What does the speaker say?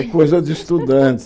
É coisa de estudante.